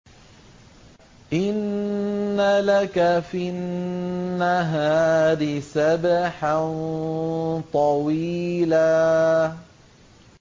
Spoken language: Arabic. إِنَّ لَكَ فِي النَّهَارِ سَبْحًا طَوِيلًا